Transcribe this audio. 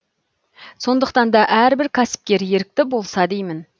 сондықтан да әрбір кәсіпкер ерікті болса деймін